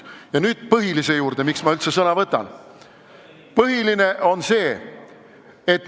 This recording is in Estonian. Ja nüüd põhilise juurde, miks ma üldse sõna võtsin.